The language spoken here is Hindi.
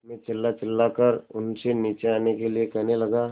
मैं चिल्लाचिल्लाकर उनसे नीचे आने के लिए कहने लगा